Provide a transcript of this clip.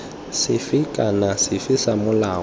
sefe kana sefe sa molao